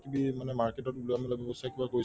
কিবি মানে market ত ওলাব লাগিব কৰিছে